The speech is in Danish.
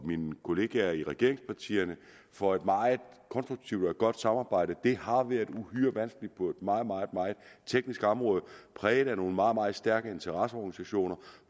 mine kollegaer i regeringspartierne for et meget konstruktivt og godt samarbejde det har været uhyre vanskeligt på et meget meget teknisk område præget af nogle meget meget stærke interesseorganisationer